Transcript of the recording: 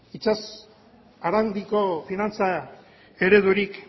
itsas arandiko finantza eredurik